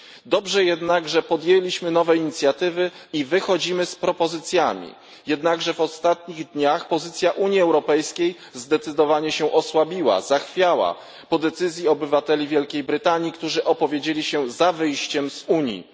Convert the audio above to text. Dobrze jednak, że podjęliśmy nowe inicjatywy i wychodzimy z propozycjami, choć w ostatnich dniach pozycja Unii Europejskiej zdecydowanie się osłabiła, zachwiała po decyzji obywateli Wielkiej Brytanii, którzy opowiedzieli się za wyjściem z Unii.